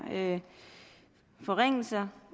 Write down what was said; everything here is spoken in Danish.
forringelser